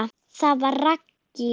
Það var Raggý.